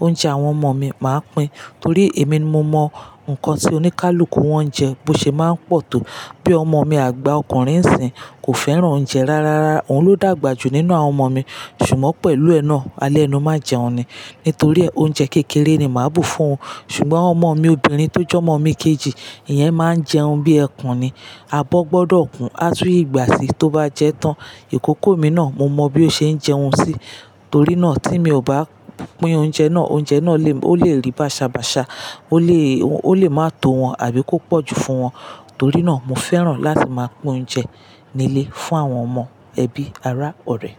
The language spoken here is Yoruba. oúnjẹ àwọn ọmọ mi, màá pín. Torí èmi ni mo mọ nǹkan tí oníkálukú wọn jẹ, bó ṣe máa ń pọ̀ tó. Bí ọmọ mi àgbà ọkùnrin Ìsìn, kò fẹ́ràn oúnjẹ rárá, òhun ló dàgbà jù nínú àwọn ọmọ mi. Ṣùgbọ́n pẹ̀lú ẹ náà, alẹ́nu máa jẹun ni. Nítorí re oúnjẹ kékeré ni màá bu fún-un. Ṣùgbọ́n ọmọ mi obìnrin tó jẹ́ ọmọ mi kejì, ìyẹn máa ń jẹun bí ẹkùn ni. Abo gbọ́dọ̀ kun, a tún gbà sí i tó bá jẹ tán. Ìkòkò mi náà, mo mọ bí ó ṣe ń jẹun sí. Torí náà tí mi ò bá pín oúnjẹ náà, oúnjẹ náà, ó lè rí bàṣabàṣa, ó lè máa tó wọn àbí kó pọ̀ jù fún wọn. Torí náà mo fẹ́ràn láti máa pín oúnjẹ nílé, fún àwọn ọmọ, ẹbí, ara, ọ̀rẹ́.